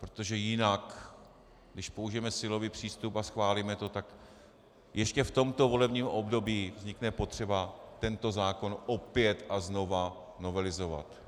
Protože jinak když použijeme silový přístup a schválíme to, tak ještě v tomto volebním období vznikne potřeba tento zákon opět a znova novelizovat.